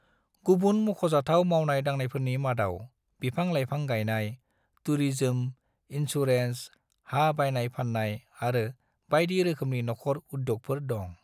गुबुन मख'जाथाव मावनाय-दांनायफोरनि मादाव बिफां-लाइफां गायनाय, टुरिजम, इन्सुरेन्स, हा बायनाय-फाननाय आरो बायदि रोखोमनि नखर उद्यगफोर दं।